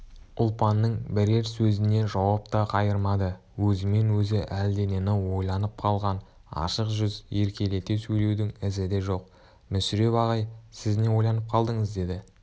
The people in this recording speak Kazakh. ұлпанның бірер сөзіне жауап та қайырмады өзімен өзі әлденені ойланып қалған ашық жүз еркелете сөйлеудің ізі де жоқ мүсіреп ағай сіз не ойланып қалдыңыз деді